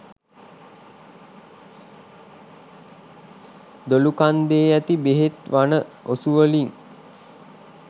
දොළුකන්දේ ඇති බෙහෙත් වන ඔසුවලින්